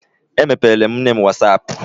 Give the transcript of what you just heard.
Emepeere m nne m was ap.